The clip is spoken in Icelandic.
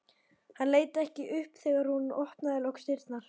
Hann leit ekki upp þegar hún opnaði loks dyrnar.